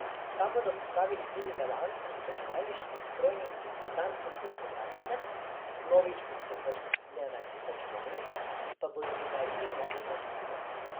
Tam bodo pripravili tudi delavnico z računalniškim strojnim in programskim usposabljanjem, vnovič usposobljene računalnike pa bodo podarili novim lastnikom.